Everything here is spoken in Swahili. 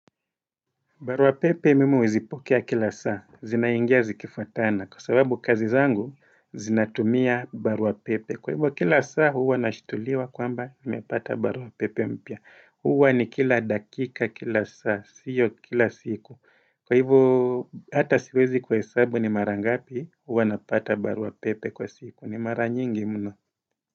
Baruapepe mimi huzipokea kila saa, zinaingia zikifuatana kwa sababu kazi zangu zinatumia baruapepe kwa hivyo kila saa huwa nashtuliwa kwamba nimepata baruapepe mpya huwa ni kila dakika kila saa, sio kila siku kwa hivyo hata siwezi kuhesabu ni mara ngapi huwa napata baruapepe kwa siku, ni mara nyingi mno.